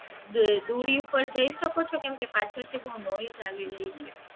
દુરી ઉપર જઈ શકો છો કેમ કે પાછળ થી બહુ આવી રહી છે